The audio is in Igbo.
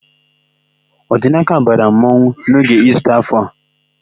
Ọdinaka mara mmanwụ n'oge Ista áfọ̀ a.